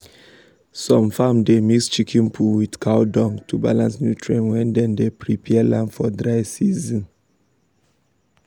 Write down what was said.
some farms dey mix chicken poo with cow dung to balance nutrient when dem dey prepare land for dry season.